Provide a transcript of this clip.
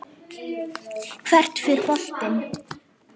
Hvert fer boltinn?